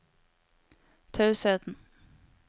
tausheten